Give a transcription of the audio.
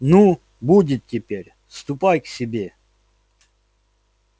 ну будет теперь ступай к себе